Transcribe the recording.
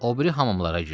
O biri hamamlara girdik.